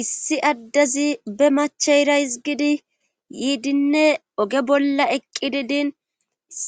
issi addezi be macheyra hizgidi yiidinne oge bolla eqqidi din